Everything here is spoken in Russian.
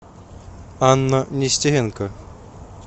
анна нестеренко